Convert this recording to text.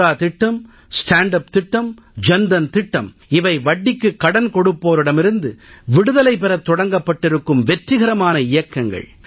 முத்ரா திட்டம் stand up திட்டம் ஜன் தன் திட்டம் இவை வட்டிக்குக் கடன் கொடுப்போரிடமிருந்து விடுதலை பெறத் தொடங்கப்பட்டிருக்கும் வெற்றிகரமான இயக்கங்கள்